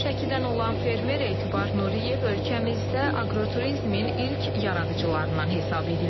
Şəkidən olan fermer Etibar Nuriyev ölkəmizdə aqroturizmin ilk yaradıcılarından hesab edilir.